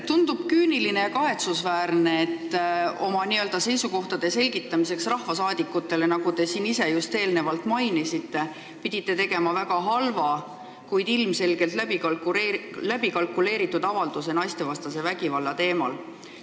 Tundub küüniline ja kahetsusväärne, et oma seisukohtade selgitamiseks rahvasaadikutele, nagu te just märkisite, pidite tegema väga halva, kuid ilmselgelt läbikalkuleeritud avalduse naistevastase vägivalla teemal.